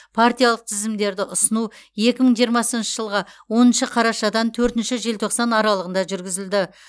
партиялық тізімдерді ұсыну екі мың жиырмасыншы жылғы оныншы қарашадан төртінші желтоқсан аралығында жүргізілді